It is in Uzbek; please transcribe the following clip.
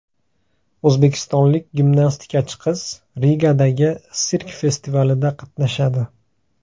O‘zbekistonlik gimnastikachi qiz Rigadagi sirk festivalida qatnashadi.